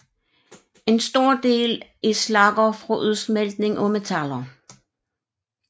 En stor del er slagger fra udsmeltning af metaller